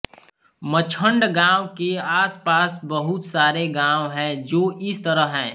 मछण्ड गांव के आसपास बहुत सारे गांव है जो इस तरह है